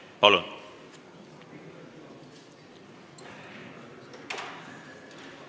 Palun!